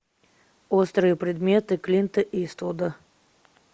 острые предметы клинта иствуда